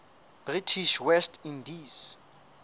british west indies